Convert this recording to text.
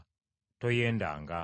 Toyendanga.